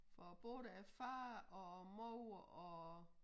For både af far og mor og